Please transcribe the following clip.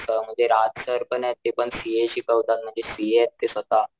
असं राज सरपनेत ते पण सीए शिकवतात म्हणजे सीएत ते स्वतः.